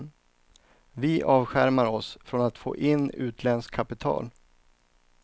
Vi avskärmar oss från att få in utländskt kapital.